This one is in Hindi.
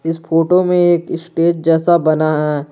इस फोटो में एक स्टेज जैसा बना है।